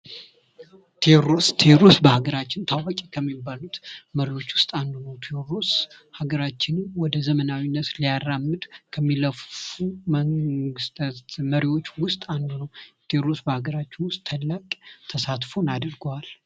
ቴዎድሮስ ቴዎድሮስ በአገራችን ታዋቂ ከሚባሉት መሪዎች ውስጥ አንዱ ንጉስ ሀገራችን ወደ ዘመናዊነት ልያራምድ ከሚለፉ መንግሥታት መሪዎች ውስጥ አንዱ ነው። ቴድሮስ በአገራቸው ውስጥ ትልቅ ተሳትፎን አድርጓል።